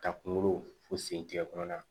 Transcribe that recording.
Ka kunkolo fo sen tɛ kɔnɔna